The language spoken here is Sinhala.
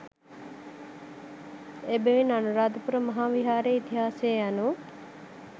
එබැවින් අනුරාධපුර මහා විහාරයේ ඉතිහාසය යනු